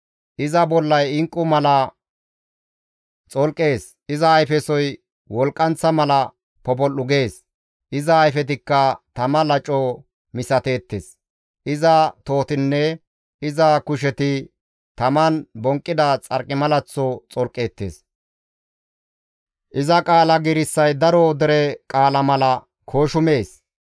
Iza bollay inqqu mala xolqees; iza ayfesoy wolqqanththa mala popol7u gees; iza ayfetikka tama laco misateettes; iza tohotinne iza kusheti taman bonqqida xarqimalaththo xolqeettes; iza qaala giirissay daro dere qaala mala kooshumees.